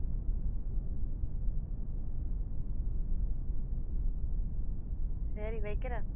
சரி வைக்கிறேன்